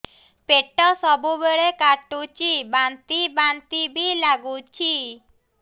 ପେଟ ସବୁବେଳେ କାଟୁଚି ବାନ୍ତି ବାନ୍ତି ବି ଲାଗୁଛି